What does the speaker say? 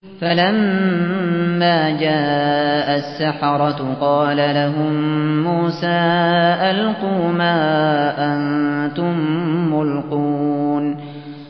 فَلَمَّا جَاءَ السَّحَرَةُ قَالَ لَهُم مُّوسَىٰ أَلْقُوا مَا أَنتُم مُّلْقُونَ